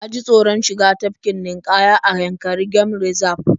Na ji taoron shiga tafkin ninƙaya a Yankari game Reserve